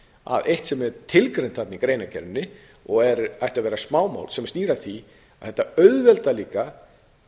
að eitt sem er tilgreint þarna í greinargerðinni og ætti að vera smámál sem snýr að því að þetta auðveldar líka